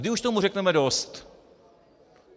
Kdy už tomu řekneme dost?